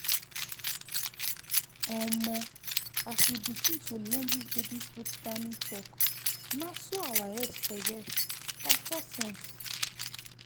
omo! as we begin to learn this baby food timing talk na so our head correct by force sense.